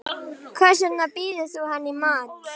Hvers vegna býður þú henni ekki í mat.